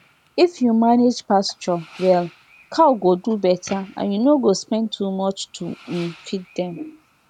if you manage pasture well cow go do better and you no go spend too much to um feed dem